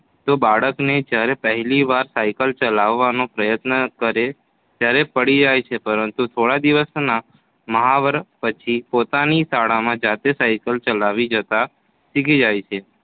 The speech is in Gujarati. તો બાળકને જયારે પહેલી વાર સાયકલ ચલાવવાનો પ્રયત્ન કરે ત્યારે પડી જાય છે પરંતુ થોડા દિવસોના મહાવરા પછી પોતાની શાળામાં જાતે સાયકલ ચલાવી જતાં શીખી જાય છે